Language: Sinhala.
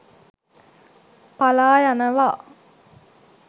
පලා යනවා.